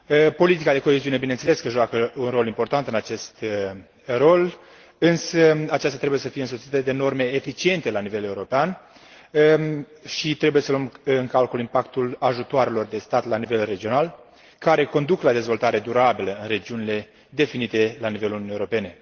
Politica de coeziune bineînțeles că joacă un rol important în acest rol, însă aceasta trebuie să fie însoțită de norme eficiente la nivel european și trebuie să luăm în calcul impactul ajutoarelor de stat la nivel regionale, care conduc la dezvoltare durabilă în regiunile definite la nivelul Uniunii Europene.